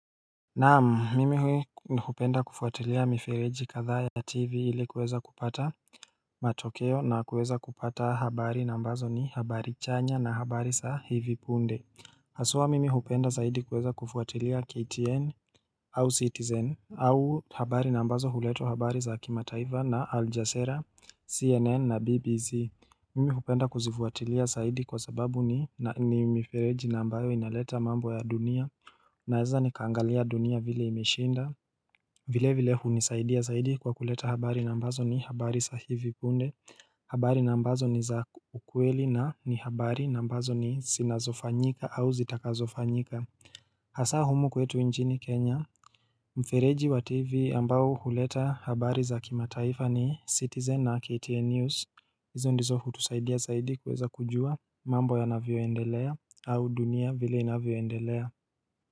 Nam mimi hui kupenda kufuatilia mifereji katha ya tivi ili kuweza kupata matokeo na kuweza kupata habari nambazo ni habari chanya na habari sa hivipunde Hasua mimi kupenda zaidi kuweza kufuatilia ktn au citizen au habari nambazo huleta habari za hakimataifa na aljasera cnn na bbc Mimi kupenda kuzifuatilia zaidi kwa sababu ni mifereji nambayo inaleta mambo ya dunia Naeza ni kangalia dunia vile imeshinda vile vile hunisaidia saidi kwa kuleta habari nambazo ni habari sahivi punde habari nambazo ni za ukweli na ni habari nambazo ni sina zifanyika au zitaka zofanyika Hasa humu kwetu nchini Kenya Mfereji wa TV ambayo huleta habari za kimataifa ni Citizen na KTN News hizo ndizo hu tusaidia zaidi kuweza kujua mambo ya navyo endelea au dunia vile navyo endelea.